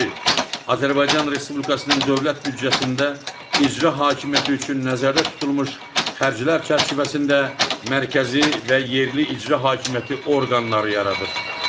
Azərbaycan Respublikasının dövlət büdcəsində icra hakimiyyəti üçün nəzərdə tutulmuş xərclər çərçivəsində mərkəzi və yerli icra hakimiyyəti orqanları yaradır.